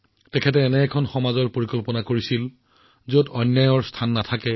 তেওঁ এনে এখন সমাজৰ কল্পনা কৰিছিল যত অন্যায়ৰ কোনো স্থান নাই